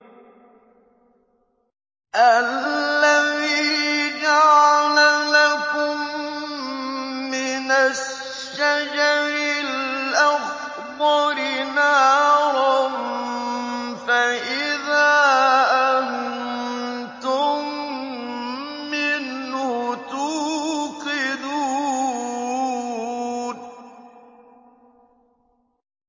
الَّذِي جَعَلَ لَكُم مِّنَ الشَّجَرِ الْأَخْضَرِ نَارًا فَإِذَا أَنتُم مِّنْهُ تُوقِدُونَ